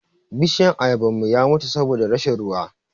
Bishiyan Ayaban mu ya mutu saboda rashin ruwa.